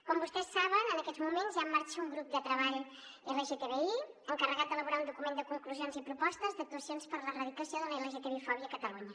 com vostès saben en aquests moments hi ha en marxa un grup de treball lgtbi encarregat d’elaborar un document de conclusions i propostes d’actuacions per a l’erradicació de la lgtbi fòbia a catalunya